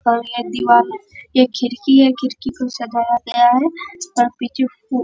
घर है दीवाल है ये खिड़की है खिड़की को सजाया गया है |